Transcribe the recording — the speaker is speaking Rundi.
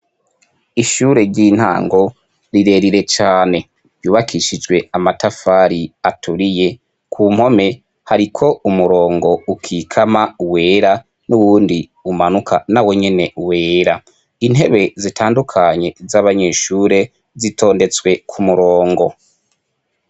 Ishure ry'intango rirerire cane yubakishijwe amatafari aturiye ku mpome hariko umurongo ukikama wera n'uwundi umanuka na we nyene wera intebe zitandukanye z'abanyeshure zitondetswe ku murongo.